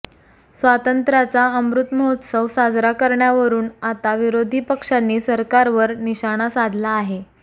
स्वातंत्र्याचा अमृत महोत्सव साजरा करण्यावरून आता विरोधी पक्षांनी सरकारवर निशाणा साधला आहे